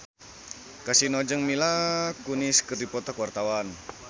Kasino jeung Mila Kunis keur dipoto ku wartawan